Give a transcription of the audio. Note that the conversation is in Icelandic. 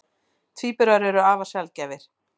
Tvíburar eru afar sjaldgæfir.